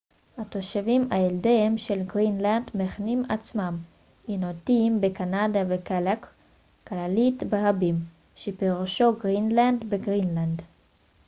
התושבים הילידיים של גרינלנד מכנים עצמם אינואיטים בקנדה וקלאלק קלאלית ברבים שפירושו גרינלנדי בגרינלנד